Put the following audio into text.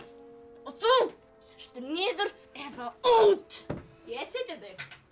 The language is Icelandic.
og þú sestu niður eða út ég er sitjandi